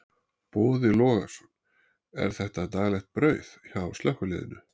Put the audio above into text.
Boði Logason: Er þetta daglegt brauð hjá slökkviliðinu?